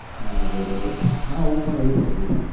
ના ના બરોબર હા હું પણ એવું જ કરું છુ